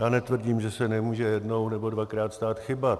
Já netvrdím, že se nemůže jednou nebo dvakrát stát chyba.